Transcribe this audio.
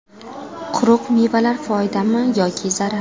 Quruq mevalar foydami yoki zarar?.